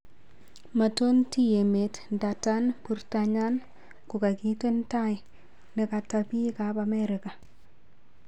Maton taa emet ndadan purtanywan ko kakiten taa nekata pik ap amerika